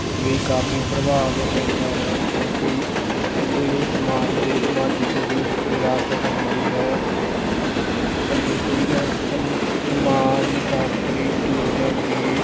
ਵੀ ਕਾਫ਼ੀ ਪ੍ਰਭਾਵ ਪੈਂਦਾ ਹੈ ਕਿਉਂਕਿ ਇਹ ਸਮਾਜ ਦੇ ਸਮਾਜਿਕ ਵਿ~ ਵਿਰਾਸਤ ਹੁੰਦੀ ਹੈ ਸਮਾਜ ਸ਼ਾਸ਼ਤਰੀ